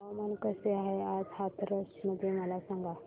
हवामान कसे आहे आज हाथरस मध्ये मला सांगा